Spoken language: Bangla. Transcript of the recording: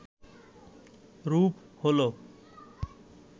রূপ হল